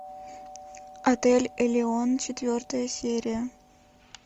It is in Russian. отель элеон четвертая серия